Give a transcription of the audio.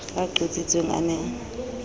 a qotsitsweng a ne a